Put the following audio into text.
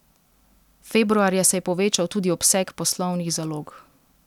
Februarja se je povečal tudi obseg poslovnih zalog.